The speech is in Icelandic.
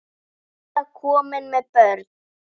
Eða komin með börn?